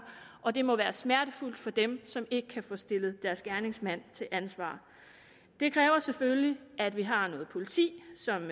og det må være smertefuldt for dem som ikke kan få stillet deres gerningsmand til ansvar det kræver selvfølgelig at vi har noget politi som